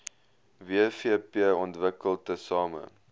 wvp ontwikkel tesame